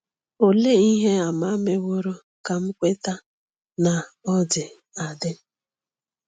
Olee ihe àmà meworo ka m kweta na ọ dị adị?